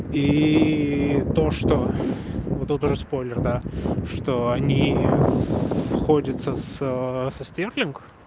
и то что вот это уже спойлер да что они сходятся с со стерлинг